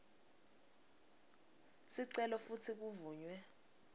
sicelo futsi kuvunywe